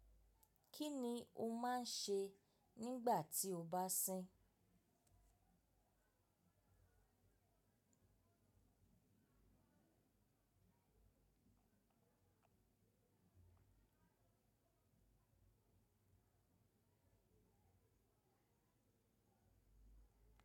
Kí ni o máa ń ṣe nígbà tí o bá sín?